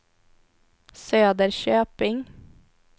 Söderköping